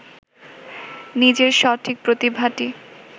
নিজের সঠিক প্রতিভাটি